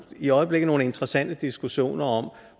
i øjeblikket nogle interessante diskussioner om